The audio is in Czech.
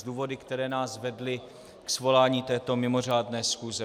S důvody, které nás vedly k svolání této mimořádné schůze.